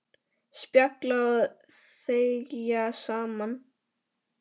Spjalla og þegja saman.